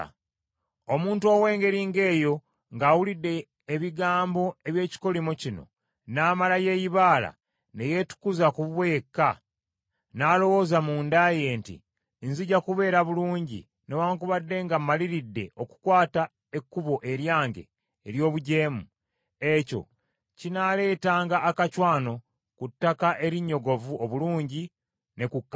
Omuntu ow’engeri ng’eyo ng’awulidde ebigambo eby’ekikolimo kino n’amala yeeyibaala, ne yeetukuza ku bubwe yekka, n’alowooza munda ye nti, “Nzija kubeera bulungi newaakubadde nga mmaliridde okukwata ekkubo eryange ery’obujeemu,” ekyo kinaaletanga akacwano ku ttaka erinnyogovu obulungi ne ku kkalu.